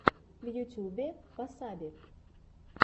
в ютьюбе васаби